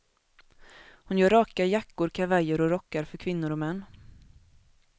Hon gör raka jackor, kavajer och rockar för kvinnor och män.